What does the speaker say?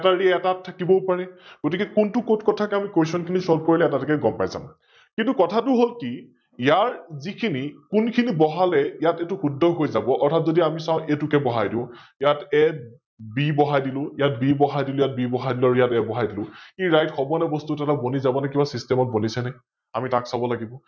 কোনখিনি বহালে ইয়াত এইতো শুদ্ধ হৈ যাব, অৰ্থাত যদি আমি চাও A টোকে বহাই দিও, ইয়াত B বহাই দিলো ইয়াত B বহাই দিলো ইয়াত B বহাই দিলো, আৰু ইয়াত A বহাই দিলো, ই right হব নে বস্থুতো অলপ বনি যাব নে কিবা system ত বনিছে আমি তাক চাৱ লাগিব ।